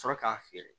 Sɔrɔ k'a feere